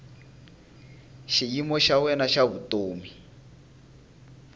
xiyimo xa wena xa vutomi